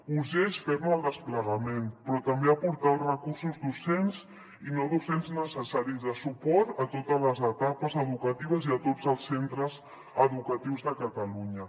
urgeix fer ne el desplegament però també aportar els recursos docents i no docents necessaris de suport a totes les etapes educatives i a tots els centres educatius de catalunya